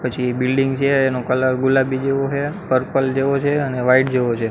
પછી એ બિલ્ડીંગ છે એનો કલર ગુલાબી જેવો હે પર્પલ જેવો છે અને વાઈટ જેવો છે.